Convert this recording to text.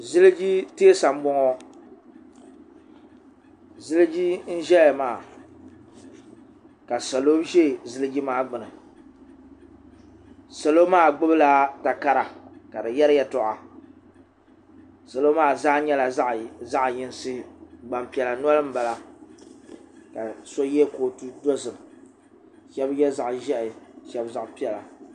ziliji teesa n boŋo ziliji n ʒɛya maa ka salo ʒɛ ziliji maa gbuni salo maa gbubila takara ka di yɛri yɛltɔɣa salo maa zaa nyɛla zaɣ yinsi Gbanpiɛla noli n bala shab yɛ kootu dozim shab yɛ zaɣ ʒiɛhi shab zaɣ piɛla